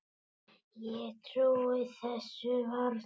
Ég trúi þessu varla.